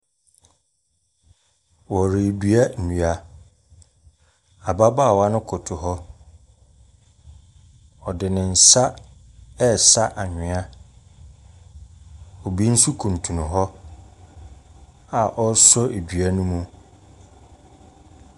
Wɔre dua nua, ababaawa no koto hɔ, ɔde ne nsa ɛɛsa anwea, obi nso kuntunu hɔ a ɔɔsɔ ɛdua no mu.